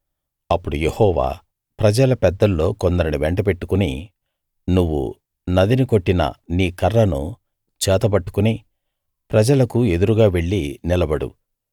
అప్పుడు యెహోవా ప్రజల పెద్దల్లో కొందరిని వెంటబెట్టుకుని నువ్వు నదిని కొట్టిన నీ కర్రను చేతబట్టుకుని ప్రజలకు ఎదురుగా వెళ్లి నిలబడు